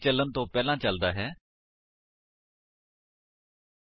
naan static block ਕਦੋਂ ਚਲਦਾ ਹੈ 160 ਨਾਨ ਸਟੇਟਿਕ ਬਲਾਕ ਤਿਆਰ ਕੀਤੇ ਗਏ ਹਰ ਇੱਕ ਆਬਜੇਕਟ ਲਈ ਚਲਦਾ ਹੈ